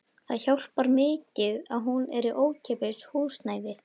Það hjálpar mikið að hún er í ókeypis húsnæði.